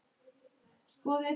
Það hnussar í afa.